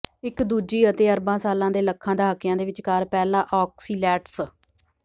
ਇੱਕ ਦੂਜੀ ਅਤੇ ਅਰਬਾਂ ਸਾਲਾਂ ਦੇ ਲੱਖਾਂ ਦਹਾਕਿਆਂ ਦੇ ਵਿਚਕਾਰ ਪਹਿਲਾ ਔਕਸੀਲੈਟਸ